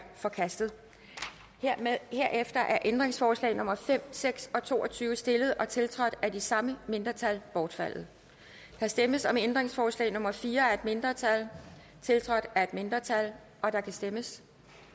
forkastet herefter er ændringsforslag nummer fem seks og to og tyve stillet og tiltrådt af de samme mindretal bortfaldet der stemmes om ændringsforslag nummer fire af et mindretal tiltrådt af et mindretal og der kan stemmes